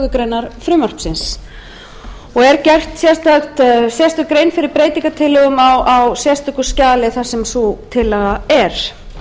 grein frumvarpsins og er gerð sérstök grein fyrir breytingatillögum á sérstöku skjali þar sem sú tillaga er